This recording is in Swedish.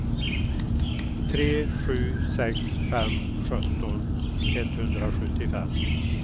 tre sju sex fem sjutton etthundrasjuttiofem